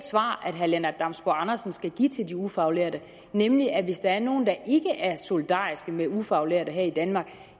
svar herre lennart damsbo andersen skal give til de ufaglærte nemlig at hvis der er nogle der ikke er solidariske med ufaglærte her i danmark